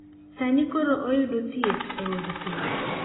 Sani koro oyudo thieth e od thieth.